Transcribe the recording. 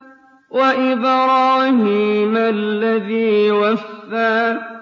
وَإِبْرَاهِيمَ الَّذِي وَفَّىٰ